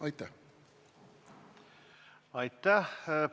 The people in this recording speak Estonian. Aitäh!